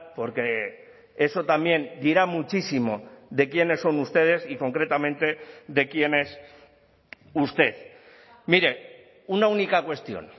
porque eso también dirá muchísimo de quiénes son ustedes y concretamente de quién es usted mire una única cuestión